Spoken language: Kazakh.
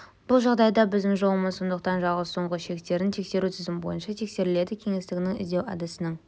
бұл жағдайда біздің жолымыз сондықтан жалғыз соңғы шектерін тексеру тізім бойынша тексеріледі кеңістігінің іздеу әдісінің